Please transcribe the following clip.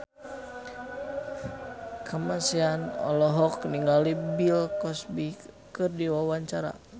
Kamasean olohok ningali Bill Cosby keur diwawancara